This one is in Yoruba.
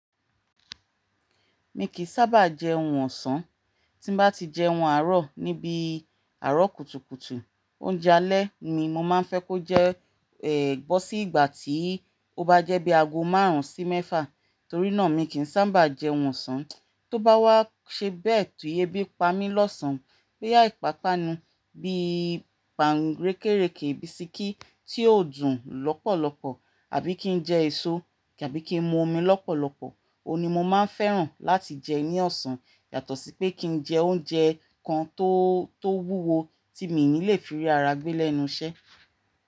Mi kìí sábà jẹun ọ̀sán, tí n bá ti jẹun àárọ̀ ní bí àárọ̀ kùtùkùtù, oúnjẹ alẹ́ mi mo máa ń fẹ́ kó jẹ́, eh, bọ́ sí ìgbà tí ó bá jẹ́ bí aago márùn-ún sí mẹ́fà. Torí náà mi kì í sábà jẹun ọ̀sán, tó bá wá ṣe bẹ́ẹ̀ ti ebí i pámí lọ́sàn-án, boya ìpáápánu bi í pànkẹ́rẹ́kẹ́, bisikí tí ó dùn lọ́pọ̀lọpọ̀ àbí kí n jẹ èso tàbí kí n mú omi lọ́pọ̀lọpọ̀, òun ni mo máa ń fẹ́ràn láti jẹ ní ọ̀sán. Yàtọ̀ sí pé kí n jẹ oúnjẹ kan tó, tó wúwo tí mi ò ní lè fi rí ara gbé lẹ́nu iṣẹ́